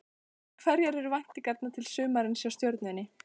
En hverjar eru væntingarnar til sumarsins hjá Stjörnunni?